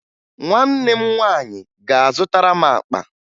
Nwanne m nwaanyị ga-azụtara m akpa